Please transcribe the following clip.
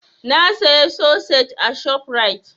Na saya sosej a ShopRite.